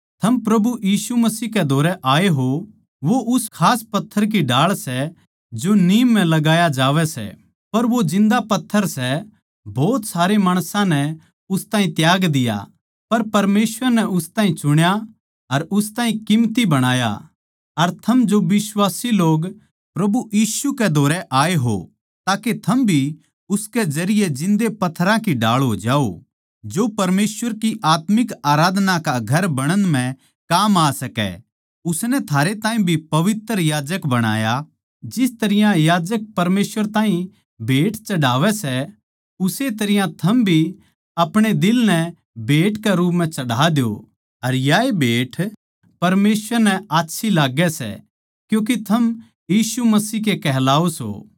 थम प्रभु यीशु मसीह कै धोरै आए हो वो उस खास पत्थर की ढाळ सै जो नीम म्ह लगाया जावै सै पर वो जिन्दा पत्थर सै भोत सारे लोग्गां नै उस ताहीं त्याज्ञा गया पर परमेसवर नै उस ताहीं चुण्या अर उस ताहीं कीमती बणाया अर थम जो बिश्वासी लोग प्रभु यीशु कै धोरै आए हो ताके थम भी उसके जरिये जिन्दे पत्थरां की ढाळ हो जाओ जो परमेसवर की आत्मिक आराधना का घर बणण म्ह काम आ सकै उसनै थारे ताहीं भी पवित्र याजक बणाया जिस तरियां याजक परमेसवर ताहीं भेट चढ़ावै सै उस्से तरियां थम भी अपणे दिल नै भेट के रूप म्ह चढ़ा द्यो अर याए भेट परमेसवर नै आच्छी लाग्गै सै क्यूँके थम यीशु मसीह के कहलाओ सों